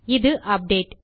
இது அப்டேட்